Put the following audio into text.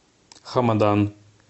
хамадан